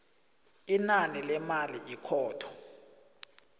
inani lemali ikhotho